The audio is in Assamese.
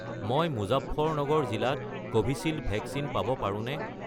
মই মুজাফ্ফৰনগৰ জিলাত কোভিচিল্ড ভেকচিন পাব পাৰোঁনে?